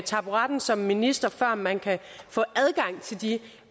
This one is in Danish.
taburetten som minister før man kan få adgang til de